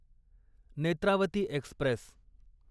Netravati Express